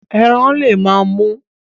Eran le ma mu